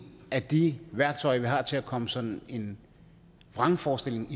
af de værktøjer vi har til at komme sådan en vrangforestilling